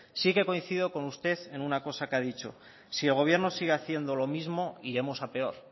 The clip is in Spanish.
sí que coincido con usted en una cosa que ha dicho si el gobierno sigue haciendo lo mismo iremos a peor